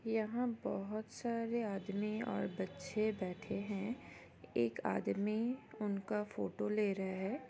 यहाँ बहुत सारे आदमी और बच्चे बैठे है एक आदमी उनका फोटो ले रहा है।